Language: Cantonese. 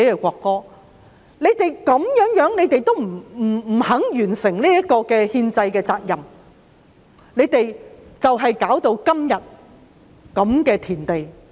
反對派堅決不肯完成這項憲制責任，結果弄到今日如斯田地。